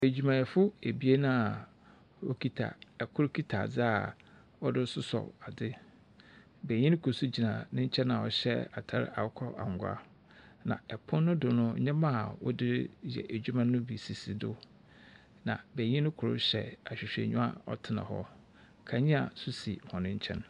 Edwumayɛfo ebien a wokita . Kor kita adze a wɔdze soso adze. Benyin kor nso gyina ne nkyɛn a ɔhyɛ atar akokɔangwa. Na pon no so no, ndzɛmba a wɔde ya eduma no bi sisi do. Na benyin kor hyɛ ahwehwɛnyiwa a ɔtsena hɔ. Kandzea nso si hɔn nkyɛn.